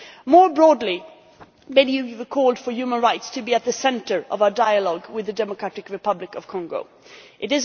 More broadly, many of you have called for human rights to be at the centre of our dialogue with the Democratic Republic of Congo It